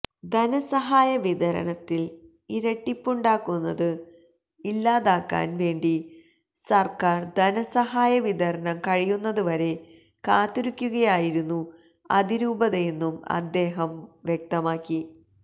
ധനസഹായ വിതരണത്തില് ഇരട്ടിപ്പുണ്ടാകുന്നത് ഇല്ലാതാക്കാന് വേണ്ടി സര്ക്കാര്ധനസഹായ വിതരണം കഴിയുന്നത് വരെ കാത്തിരിക്കുയായിരുന്നു അതിരൂപതയെന്നും അദ്ദേഹവം വ്യക്തമാക്കി